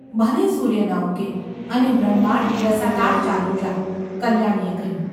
ભલે સૂર્ય ન ઉગે અને બ્રહ્માંડ રસાતાળ ચાલ્યું જાય !’ કલ્યાણીએ કહ્યું.